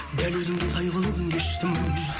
дәл өзіңдей қайғылы күн кештім